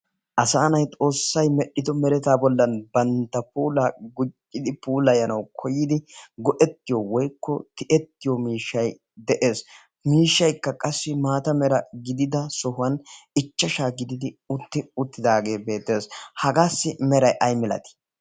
asaanay xoossay medhdhido meretaa bollan bantta puula gujidi puulayanawu koyidi go'ettiyo woykko ti'ettiyo miishshay de'ees miishshaykka qassi maata mera gidida sohuwan ichchashaa gididi utti uttidaagee bee de'ees hagaassi meray ay milatii